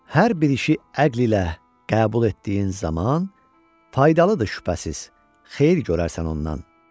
Hər bir işi əql ilə qəbul etdiyin zaman faydalıdır şübhəsiz, xeyir görərsən ondan.